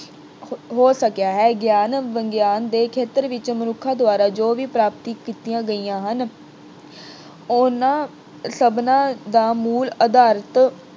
ਹੋ ਅਹ ਹੋ ਸਕਿਆ ਹੈ ਗਿਆਨ ਵਿਗਿਆਨ ਦੇ ਖੇਤਰ ਵਿੱਚ ਮਨੁੱਖਾਂ ਦੁਆਰਾ ਜੋ ਵੀ ਪ੍ਰਾਪਤੀਆਂ ਕੀਤੀਆਂ ਗਈਆਂ ਹਨ ਉਹਨਾਂ ਸਭਨਾਂ ਦਾ ਮੂਲ ਆਧਾਰ